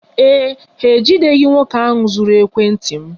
Ee e, ha ejideghị nwoke ahụ zuru ekwentị m